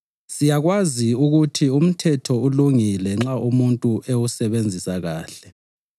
Siyakwazi ukuthi umthetho ulungile nxa umuntu ewusebenzisa kuhle.